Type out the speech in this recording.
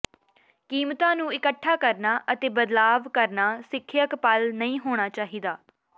ਕੀਮਤਾਂ ਨੂੰ ਇਕੱਠਾ ਕਰਨਾ ਅਤੇ ਬਦਲਾਵ ਕਰਨਾ ਸਿੱਖਿਅਕ ਪਲ ਨਹੀਂ ਹੋਣਾ ਚਾਹੀਦਾ ਹੈ